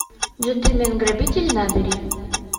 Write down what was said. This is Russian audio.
джентельмен грабитель набери